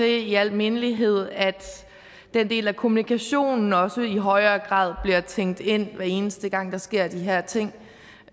i al mindelighed at den del af kommunikationen også i højere grad bliver tænkt ind hver eneste gang der sker de her ting